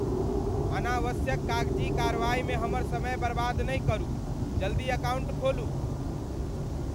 अनावश्यक कागजी कारवाइमे हमर समय बर्बाद नहि करू। जल्दी अकाउंट खोलू!